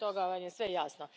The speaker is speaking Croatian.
Iz toga vam je sve jasno.